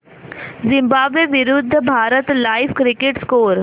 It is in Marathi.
झिम्बाब्वे विरूद्ध भारत लाइव्ह क्रिकेट स्कोर